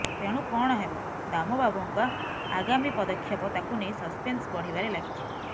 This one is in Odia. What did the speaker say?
ତେଣୁ କଣ ହେବ ଦାମ ବାବୁଙ୍କା ଆଗାମୀ ପଦକ୍ଷେପ ତାକୁ ନେଇ ସସପେନ୍ସ ବଢିବାରେ ଲାଗିଛି